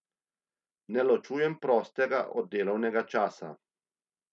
Ne ločujem prostega od delavnega časa.